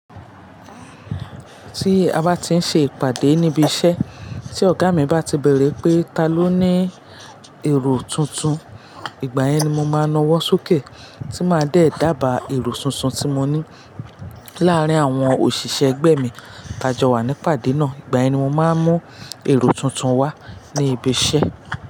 Tí a bá ti ń ṣe ìpàdé níbi iṣẹ́, tí ọ̀gá mi bá ti bèrè pé ta ló ní èrò tuntun, ìgbà yẹn ni mo máa nawọ́ súkẹ́, tí máa dẹ̀ dàba èrò tuntun tí mo ní. Láàárín àwọn òṣìṣẹ́ ẹgbẹ́ mi tajọ wa ní ìpàdé náà. Ìgbà yẹn ni mo máa ń mú èrò tuntun wá ní ibi iṣẹ́.